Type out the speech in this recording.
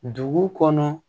Dugu kɔnɔ